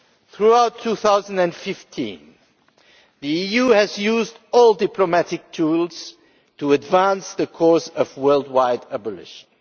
Throughout 2015 the EU has used all diplomatic tools to advance the cause of worldwide abolition.